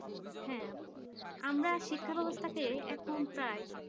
হ্যাঁ আপু আমরা শিক্ষা ব্যবস্থাতে এখন প্রায়